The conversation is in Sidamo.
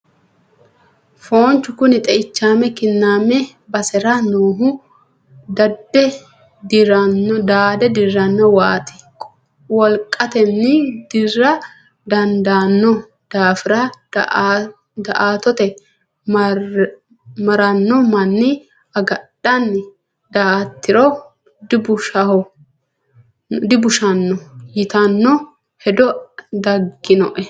Foonchu kuni xeichame kiname basera noohu daade dirano waati wolqateni dirra dandaano daafira daa"attote marrano manni agadhani daa"atiro dibushano ytano hedo daginoe.